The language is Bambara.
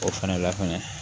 O fana la kɔni